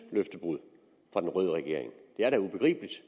løftebrud fra den røde regering det er da ubegribeligt